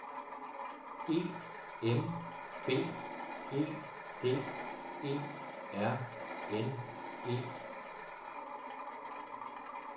E M B E D E R N E